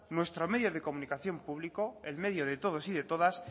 nuestro medio de comunicación público el medio de todos y de todas